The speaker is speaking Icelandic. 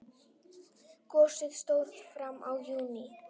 Gosið stóð fram í júní.